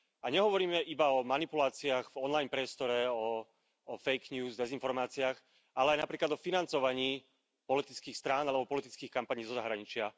A nehovoríme iba o manipuláciách v online priestore, o fake news, o dezinformáciách, ale aj napríklad aj o financovaní politických strán, alebo politických kampaní zo zahraničia.